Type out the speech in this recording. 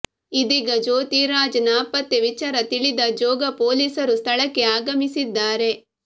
ಇದೀಗ ಜ್ಯೋತಿ ರಾಜ್ ನಾಪತ್ತೆ ವಿಚಾರ ತಿಳಿದ ಜೋಗ ಪೋಲೀಸರು ಸ್ಥಳಕ್ಕೆ ಆಗಮಿಸಿದ್ದಾರೆ